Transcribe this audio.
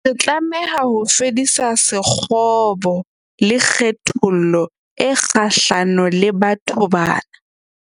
Re tlameha ho fedisa sekgobo le kgethollo e kgahlano le batho bana.